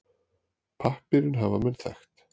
Pappírinn hafa menn þekkt.